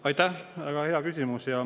Aitäh, väga hea küsimus!